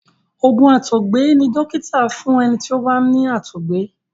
oògùn àtọgbẹ ní dókítà fún ẹní tí o bá ní àtọgbẹ.